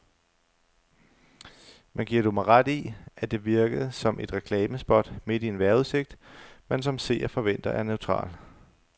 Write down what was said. Men giver du mig ret i, at det virkede som et reklamespot midt i en vejrudsigt, man som seer forventer er neutral.